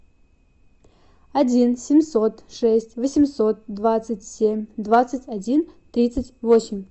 один семьсот шесть восемьсот двадцать семь двадцать один тридцать восемь